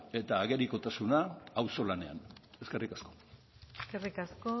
eta agerikotasuna auzolanean eskerrik asko eskerrik asko